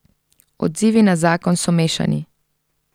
Odzivi na zakon so mešani.